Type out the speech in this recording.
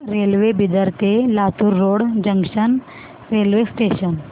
railway Bidar ते Latur road junction railway station